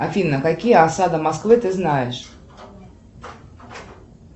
афина какие осады москвы ты знаешь